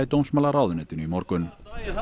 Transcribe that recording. dómsmálaráðuneytinu í morgun það